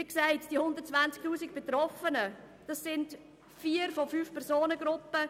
Wie gesagt werden mit den 120 000 Betroffenen vier von fünf Kategorien tangiert.